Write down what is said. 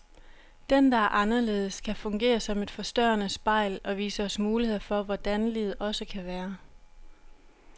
Den, der er anderledes, kan fungere som et forstørrende spejl, og vise os muligheder for hvordan livet også kan være.